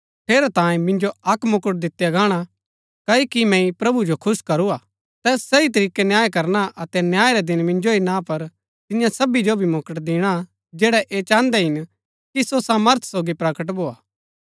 ठेरैतांये मिन्जो अक्क मुकुट दितिआ गाणा क्ओकि मैंई प्रभु जो खुश करू हा तैस सही तरीकै न्याय करना अतै न्याय रै दिन मिन्जो ही ना पर तिन्या सबी जो भी मुकुट दिणा जैड़ै ऐह चाहन्दै हिन कि सो सामर्थ सोगी प्रकट भोआ